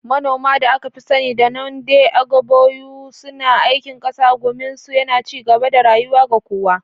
Manoma, da aka fi sani da Nde Ogbogu, suna aikin ƙasa, gumin su yana ci gaba da rayuwa ga kowa.